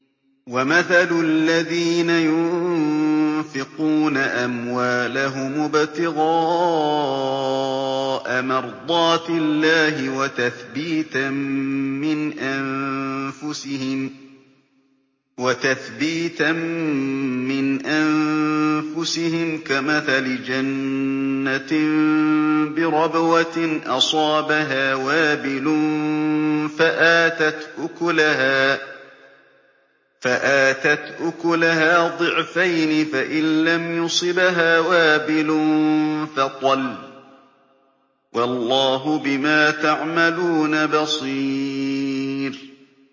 وَمَثَلُ الَّذِينَ يُنفِقُونَ أَمْوَالَهُمُ ابْتِغَاءَ مَرْضَاتِ اللَّهِ وَتَثْبِيتًا مِّنْ أَنفُسِهِمْ كَمَثَلِ جَنَّةٍ بِرَبْوَةٍ أَصَابَهَا وَابِلٌ فَآتَتْ أُكُلَهَا ضِعْفَيْنِ فَإِن لَّمْ يُصِبْهَا وَابِلٌ فَطَلٌّ ۗ وَاللَّهُ بِمَا تَعْمَلُونَ بَصِيرٌ